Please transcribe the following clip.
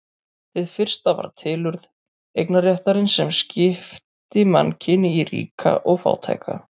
Hið fyrsta var tilurð eignarréttarins sem skipti mannkyni í ríka og fátæka.